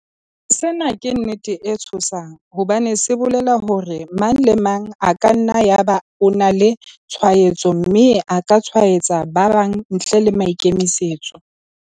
Sena ke nnete e tshosang hobane se bolela hore mang le mang e ka nna ya ba o na le tshwaetso mme a ka tshwaetsa ba bang ntle le maikemisetso.